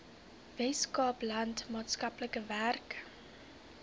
weskaapland maatskaplike werk